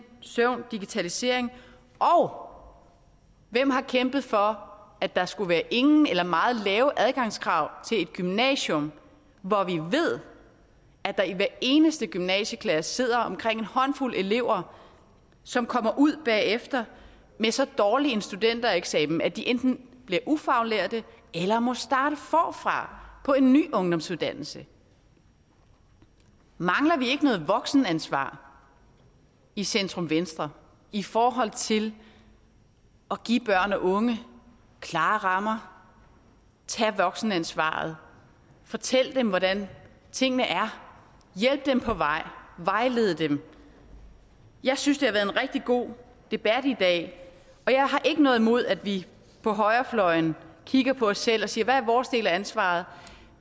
søvn på digitalisering og hvem har kæmpet for at der skulle være ingen eller meget lave adgangskrav til et gymnasium hvor vi ved at der i hver eneste gymnasieklasse sidder omkring en håndfuld elever som kommer ud bagefter med så dårlig en studentereksamen at de enten bliver ufaglærte eller må starte forfra på en ny ungdomsuddannelse mangler vi ikke noget voksenansvar i centrum venstre i forhold til at give børn og unge klare rammer tage voksenansvaret fortælle dem hvordan tingene er hjælpe dem på vej og vejlede dem jeg synes det har været en rigtig god debat i dag og jeg har ikke noget imod at vi på højrefløjen kigger på os selv og siger hvad er vores del af ansvaret